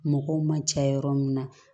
Mɔgɔw man ca yɔrɔ min na